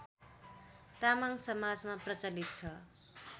तामाङ समाजमा प्रचलित छ